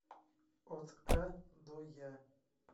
от а до я